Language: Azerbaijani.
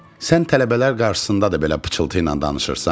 Sən tələbələr qarşısında da belə pıçıltı ilə danışırsan?